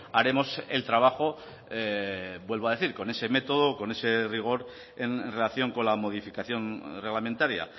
haremos el trabajo vuelvo a decir con ese método con ese rigor en relación con la modificación reglamentaria